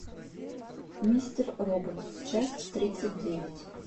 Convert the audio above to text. мистер робот часть тридцать девять